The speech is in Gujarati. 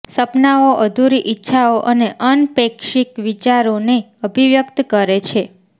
સપનાઓ અધૂરી ઇચ્છાઓ અને અનપેક્ષિત વિચારોને અભિવ્યક્ત કરે છે